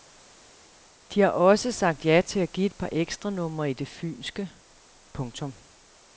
De har også sagt ja til at give et par ekstranumre i det fynske. punktum